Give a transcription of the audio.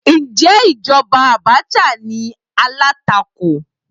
Ǹjẹ́ ìjọba Abacha ní alátakò?